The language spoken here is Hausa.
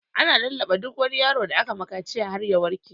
Ana lallaɓa duk wani yaro da aka masa kaciya har ya warke.